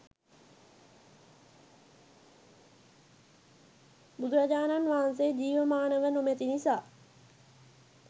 බුදුරජාණන් වහන්සේ ජීවමානව නොමැති නිසා